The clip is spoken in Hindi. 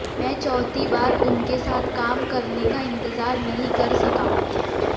मैं चौथी बार उनके साथ काम करने का इंतजार नहीं कर सका